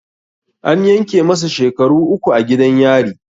An yanke masa shekaru uku a gidan yari